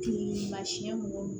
Jeli masiyɛn mɔgɔw